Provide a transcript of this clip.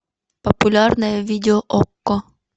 популярное видео окко